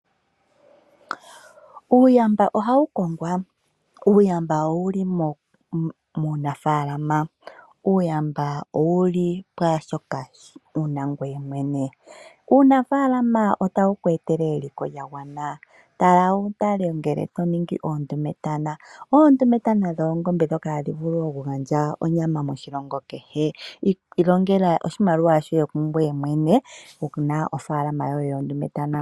Uuyamba ohawu kongwa. Uuyamba owuli muunafaalama, uuyamba owuli pwaashoka wuna ngoye mwene. Uunafaalama otawu ku etele eliko lya gwana . Oondumetana odho oongombe d ndhoka hadhi vulu okugandja onyama . Ilongela oshimaliwa shoye kungoye mwene wuna ofaalama yoye yoondumetana.